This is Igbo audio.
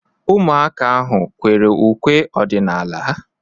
Ụmụaka ahu ekwere ukwe ọdịnala?